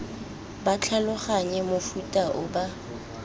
ba tlhaloganye mofuta o ba